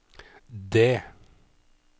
D